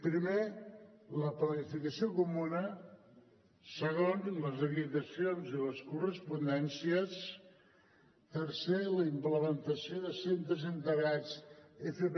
primer la planificació comuna segon les acreditacions i les correspondències tercer la implementació de centres integrats fp